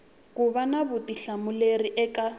ku va na vutihlamuleri eka